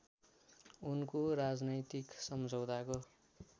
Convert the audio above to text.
उनको राजनैतिक सम्झौताको